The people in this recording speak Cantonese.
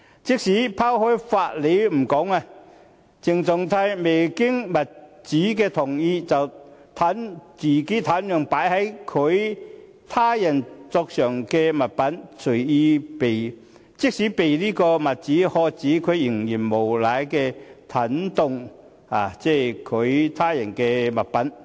即使拋開法理不說，鄭松泰未經物主同意便擅動擺放在他人桌上的物品，即使被物主喝止，他仍然無賴地擅動他人物品。